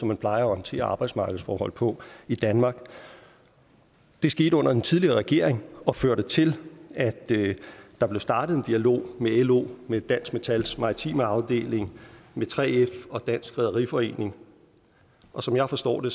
man plejer at håndtere arbejdsmarkedsforhold på i danmark det skete under den tidligere regering og førte til at der blev startet en dialog med lo med dansk metals maritime afdeling med 3f og dansk rederiforening og som jeg forstår det